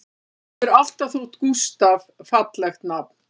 Mér hefur alltaf þótt Gústaf fallegt nafn